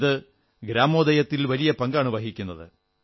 ഇത് ഗ്രാമോദയത്തിൽ വലിയ പങ്കാണ് വഹിക്കുന്നത്